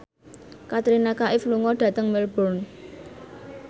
Katrina Kaif lunga dhateng Melbourne